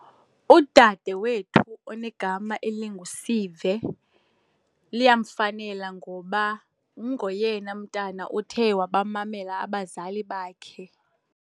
Udadewethu onegama elinguSive liyamfanela ngoba ungoyena mntana othe wabamamela abazali bakhe.